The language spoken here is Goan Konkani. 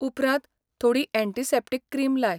उपरांत थोडी अँटीसेप्टिक क्रीम लाय.